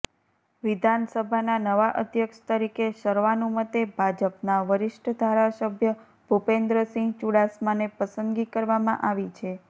વિધાનસભાના નવા અધ્યક્ષ તરીકે સર્વાનુમતે ભાજપના વરીષ્ઠ ધારાસભ્ય ભુપેન્દ્રસિંહ ચુડાસમાને પસંદગી કરવામાં આવી છે